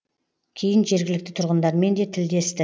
кейін жергілікті тұрғындармен де тілдесті